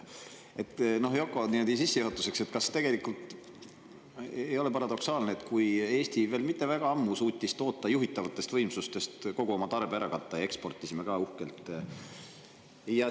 Yoko, sissejuhatuseks, kas tegelikult ei ole paradoksaalne, et Eesti veel mitte väga ammu suutis toota nii palju, et juhitavatest võimsustest kogu oma tarve ära katta, ja eksportisime ka uhkelt?